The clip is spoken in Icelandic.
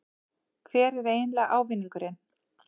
Hver er eiginlega ávinningurinn?